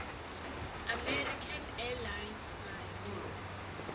american airlines flight